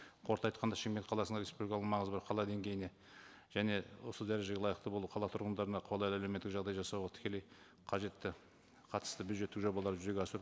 қорыта айтқанда шымкент қаласына республикалық маңызы бар қала деңгейіне және осы дәрежеге лайықты болу қала тұрғындарына қолайлы әлеуметтік жағдай жасауға тікелей қажетті қатысты бюджеттік жобалар жүзеге